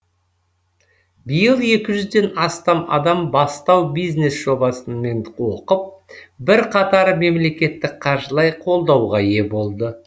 биыл екі жүзден астам адам бастау бизнес жобасымен оқып бірқатары мемлекеттік қаржылай қолдауға ие болды